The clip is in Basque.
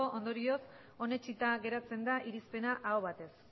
ondorioz onetsita geratzen da irizpena aho batez